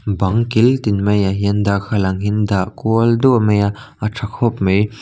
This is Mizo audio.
bang kil tin mai ah hian darthlalang in dah kual duah mai a a tha khawp mai.